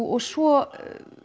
og svo